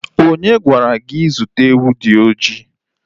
Onye gwara gị zụta ewu dị oji?